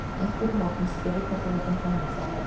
Einhver úr hópnum spurði hvort við vildum koma út að leika.